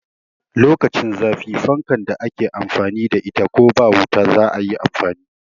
Lokacin zafi fankan da ake amfani da ita ko ba wuta zai yi amfani